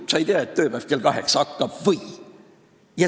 Kas sa ei tea, et tööpäev algab kell kaheksa?